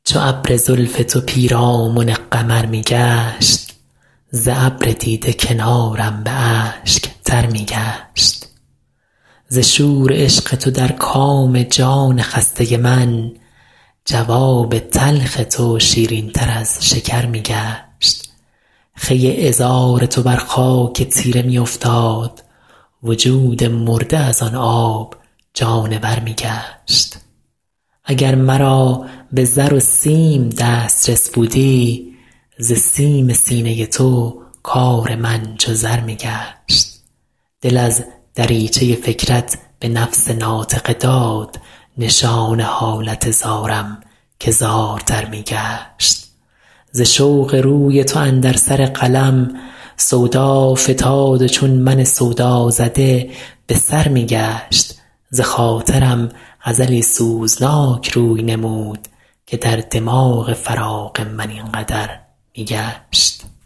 چو ابر زلف تو پیرامن قمر می گشت ز ابر دیده کنارم به اشک تر می گشت ز شور عشق تو در کام جان خسته من جواب تلخ تو شیرین تر از شکر می گشت خوی عذار تو بر خاک تیره می افتاد وجود مرده از آن آب جانور می گشت اگر مرا به زر و سیم دسترس بودی ز سیم سینه تو کار من چو زر می گشت دل از دریچه فکرت به نفس ناطقه داد نشان حالت زارم که زارتر می گشت ز رشک قد تو اندر سر قلم سودا فتاد و چون من سودازده به سر می گشت بخاطرم غزلی سوزناک روی نمود که در دماغ خیال من این قدر می گشت